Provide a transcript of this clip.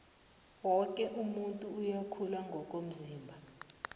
woke umuntu uyakhula ngokomzimba